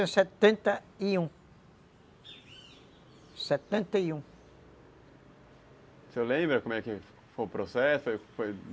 Setenta e um, setenta e um. O senhor lembra como é que foi o processo? Foi, foi